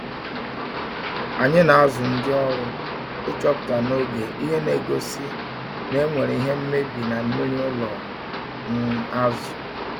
Anyi na azụ ndi ọrụ ichọpụta n'oge ihe na egosi na enwere ihe mmebi na mmiri ụlọ um azu